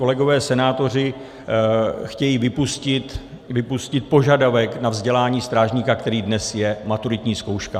Kolegové senátoři chtějí vypustit požadavek na vzdělání strážníka, kterým dnes je maturitní zkouška.